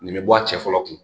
Nin bɛ bɔ a cɛ fɔlɔ kun